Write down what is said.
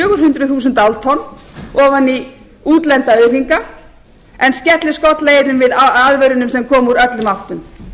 fjórtán hundruð þúsáltonn ofan í útlenda auðhringa en skellir skollaeyrum við aðvörunum sem koma úr öllum áttum